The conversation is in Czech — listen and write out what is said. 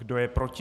Kdo je proti?